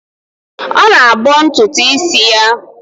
Ọ na-abọ ntụtụ isi ya.